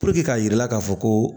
k'a jira k'a fɔ ko